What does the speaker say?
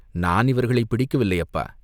"நான் இவர்களைப் பிடிக்கவில்லை, அப்பா!